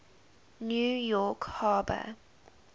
new york harbor